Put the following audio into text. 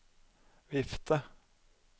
vifte